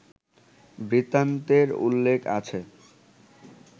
বৃত্তান্তের উল্লেখ আছে